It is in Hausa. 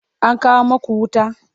an kawo maku wuta?